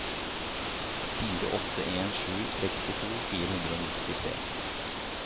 fire åtte en sju sekstito fire hundre og nittitre